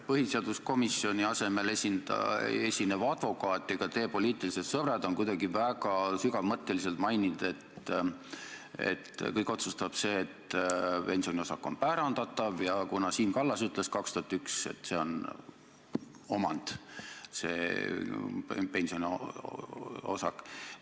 Põhiseaduskomisjoni asemel esinev advokaat ja ka teie poliitilised sõbrad on kuidagi väga sügavmõtteliselt maininud, et kõik otsustab see, et pensioniosak on pärandatav, kuna Siim Kallas 2001 ütles, et see pensioniosak on omand.